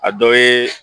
A dɔ ye